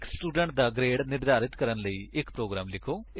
ਇੱਕ ਸਟੂਡੇਂਟ ਦਾ ਗਰੇਡ ਨਿਰਧਾਰਤ ਕਰਨ ਲਈ ਇੱਕ ਪ੍ਰੋਗਰਾਮ ਲਿਖੋ